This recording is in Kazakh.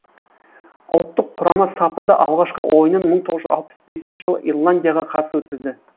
ұлттық құрама сапында алғашқы ойынын мың тоғы жүх алпыс бесінші жылы ирландияға қарсы өткізді